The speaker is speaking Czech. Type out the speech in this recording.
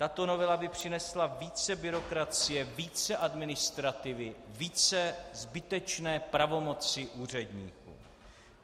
Tato novela by přinesla více byrokracie, více administrativy, více zbytečné pravomoci úředníků.